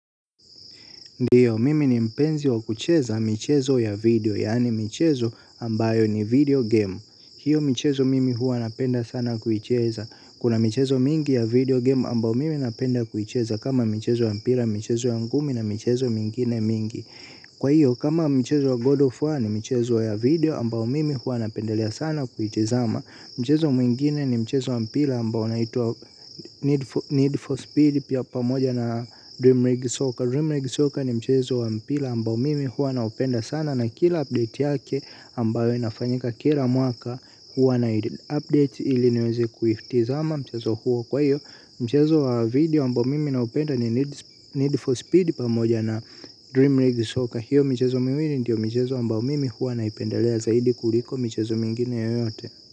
Ndiyo, mimi ni mpenzi wa kucheza michezo ya video, yani michezo ambayo ni video game. Hiyo michezo mimi huwa napenda sana kuicheza. Kuna michezo mingi ya video game ambayo mimi napenda kuicheza kama michezo wa mpira, michezo ya ngumi na michezo mingine mingi. Kwa hiyo, kama michezo wa God of War ni michezo ya video ambayo mimi huwa napendelea sana kuitazama ama. Mchezo mwingine ni mchezo mpira ambao unaitwa Need for Speed pia pamoja na Dream Rig Soaker Dream Rig Soaker ni mchezo mpira ambao mimi hua naupenda sana. Na kila update yake ambayo inafanyika kila mwaka huwa na update ili niweze kuitazama i mchezo huo kwa hiyo mchezo wa video ambao mimi naupenda ni Need for Speed pamoja na Dream Rig Soaker. Hiyo mchezo miwili ndio michezo ambao mimi huwa naipendalea zaidi kuliko michezo mingine yoyote.